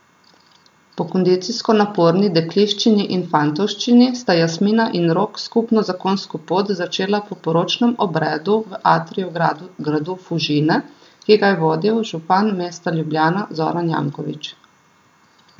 Po kondicijsko naporni dekliščini in fantovščini sta Jasmina in Rok skupno zakonsko pot začela po poročnem obredu v atriju gradu Fužine, ki ga je vodil župan mesta Ljubljana, Zoran Janković.